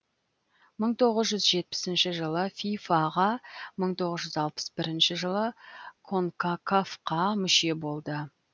мың тоғыз жүз жетпісінші жылы фифа ға мың тоғыз жүз алпыс бірінші жылы конкакаф қа мүше болды